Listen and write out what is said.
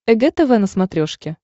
эг тв на смотрешке